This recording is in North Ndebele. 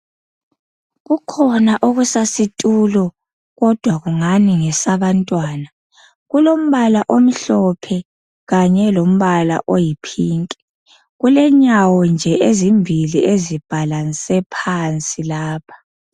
Kukhona okusasitulo kodwa ngani ngesabantwana. Kulombala omhlophe kanye lombala oyipink, kulenyawo nje ezimbili ezibhalanse phansi lapha.